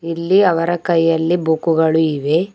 ಇಲ್ಲಿ ಅವರ ಕೈಯಲ್ಲಿ ಬುಕ್ ಗಳು ಇವೆ.